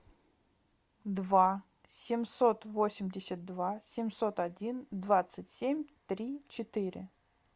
два семьсот восемьдесят два семьсот один двадцать семь три четыре